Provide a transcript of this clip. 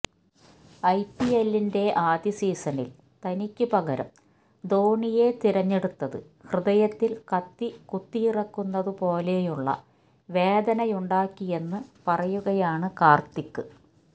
ഐപിഎല്ലിന്റെ ആദ്യ സീസണിൽ തനിക്ക് പകരം ധോണിയെ തിരഞ്ഞെടുത്തത് ഹൃദയത്തിൽ കത്തി കുത്തിയിറക്കുന്നതുപോലെയുളള വേദനയുണ്ടാക്കിയെന്ന് പറയുകയാണ് കാർത്തിക്